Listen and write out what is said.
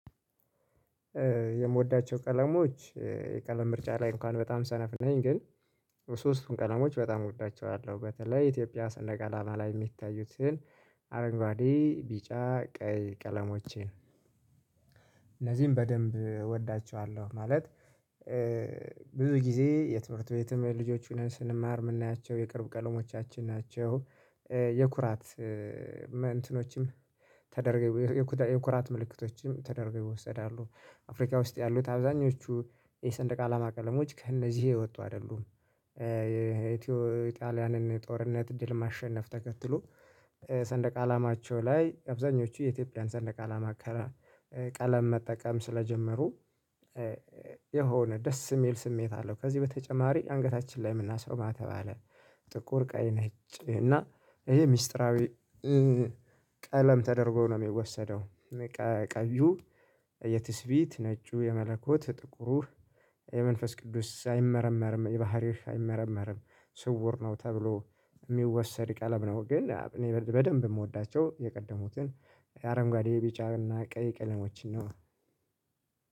የምወዳቸው ቀለሞች የቀለም ምርጫ ላይ እንኳን በጣም ሰነፍ ነኝ ግን ሶስቱን ቀለሞች በጣም እወዳቸዋለሁ በተለይ ኢትዮጵያ ሰንደቅ አላማ ላይ የሚታዩትን አረንጓዴ ቢጫ ቀይ ቀለሞቼን እነዚህን በደንብ እወዳቸዋለሁ። ማለት ብዙ ጊዜ የትምህርት ቤትም ልጆች ሆነን ስንማር ምናያቸው የቅርብ ቀለሞቻችን ናቸው። የኩራት እንትኖችም ተደርገው የኩራት ምልክቶችም ተደርገው ይወሰዳሉ። አፍሪካ ውስጥ ያሉት አብዛኞቹ የሰንደቅ አላማ ቀለሞች ከእነዚህ የወጡ አይደሉም። የኢትዮ ጣሊያንን ጦርነት ድል ማሸነፍ ተከትሎ ሰንደቅ አላማቸው ላይ አብዛኞቹ የኢትዮጵያ ሰንደቅ አላማ። ቀለም መጠቀም ስለጀመሩ የሆነ ደስ የሚል ስሜት አለው። ከዚህ በተጨማሪ አንገታችን ላይ የምናስረው ማህተብ አለ። ጥቁር ቀይ ነች እና ይሄ ሚስጥራዊ ቀለም ተደርጎ ነው የሚወሰደው። ቀዩ የትስፊት ነጩ የመለኮት ጥቁር የመንፈስ ቅዱስ አይመረመርም የባህሪህ አይመረመርም ስውር ነው ተብሎ የሚወሰድ ቀለም ነው። ግን እኔ በደንብ የምወዳቸው የቀደሙትን አረንጓዴ ቢጫውንና ቀይ ቀለሞችን ነው።